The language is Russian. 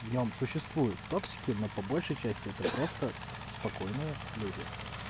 в нём существует токсики но по большей части это просто спокойные люди